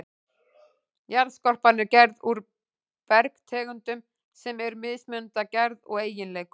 Jarðskorpan er gerð úr bergtegundum sem eru mismunandi að gerð og eiginleikum.